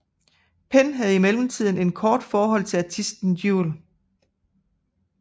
Penn havde i mellemtiden et kort forhold til artisten Jewel